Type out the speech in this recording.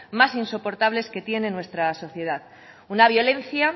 más insoportables que tiene nuestra sociedad una violencia